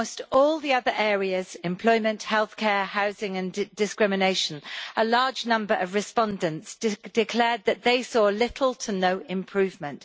In almost all the other areas employment, healthcare, housing and discrimination a large number of respondents declared that they saw little or no improvement.